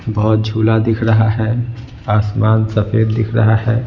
बहुत झूला दिख रहा है आसमान सफेद दिख रहा है।